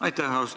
Aitäh!